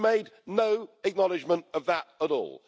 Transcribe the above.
You made no acknowledgment of that at all.